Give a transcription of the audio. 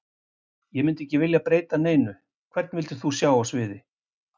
Ég myndi ekki vilja breyta neinu Hvern vildir þú sjá á sviði?